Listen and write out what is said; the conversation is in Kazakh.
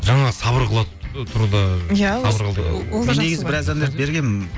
жаңа сабыр қыла тұрда мен негізі біраз әндерді бергенмін